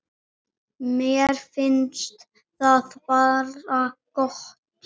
Mér finnst það bara gott.